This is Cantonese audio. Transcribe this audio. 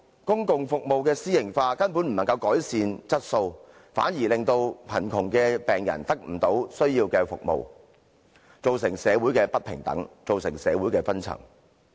公共服務私營化根本無法改善質素，反而令貧窮的病人得不到需要的服務，造成社會上不平等，導致社會分層。